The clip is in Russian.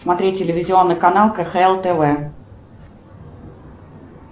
смотреть телевизионный канал кхл тв